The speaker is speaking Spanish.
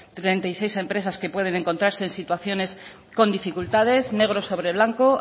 treinta y seis empresas que pueden encontrarse en situaciones con dificultades negro sobre blanco